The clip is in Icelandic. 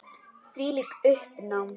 Þvílíkt uppnám.